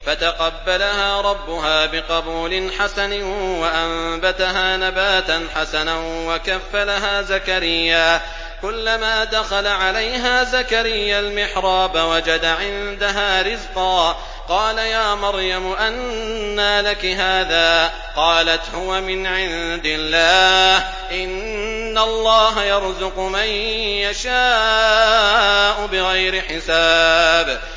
فَتَقَبَّلَهَا رَبُّهَا بِقَبُولٍ حَسَنٍ وَأَنبَتَهَا نَبَاتًا حَسَنًا وَكَفَّلَهَا زَكَرِيَّا ۖ كُلَّمَا دَخَلَ عَلَيْهَا زَكَرِيَّا الْمِحْرَابَ وَجَدَ عِندَهَا رِزْقًا ۖ قَالَ يَا مَرْيَمُ أَنَّىٰ لَكِ هَٰذَا ۖ قَالَتْ هُوَ مِنْ عِندِ اللَّهِ ۖ إِنَّ اللَّهَ يَرْزُقُ مَن يَشَاءُ بِغَيْرِ حِسَابٍ